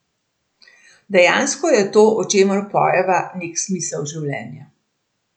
Dejansko je to, o čemer pojeva, nek smisel življenja.